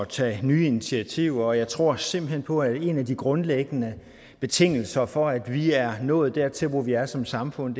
tage nye initiativer og jeg tror simpelt hen på at en af de grundlæggende betingelser for at vi er nået dertil hvor vi er som samfund